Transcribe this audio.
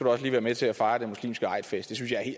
også være med til at fejre den muslimske eidfest